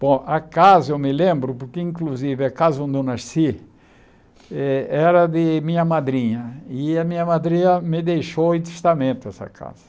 Bom, a casa, eu me lembro, porque inclusive a casa onde eu nasci eh era de minha madrinha, e a minha madrinha me deixou em testamento essa casa.